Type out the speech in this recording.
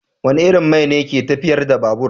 Wane irin man ne ke tafiyar da babur?